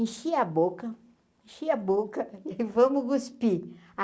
Enchia a boca, enchia a boca e vamos cuspir.